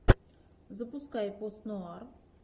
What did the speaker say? запускай пост нуар